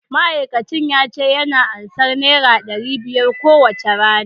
ma'aikacin yace yana ansan naira dari biyar kowacce rana